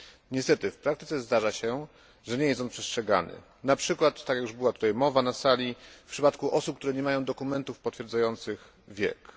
Niestety, w praktyce zdarza się, że nie jest on przestrzegany, np. tak jak już była tutaj mowa na sali, w przypadku osób które nie mają dokumentów potwierdzających wiek.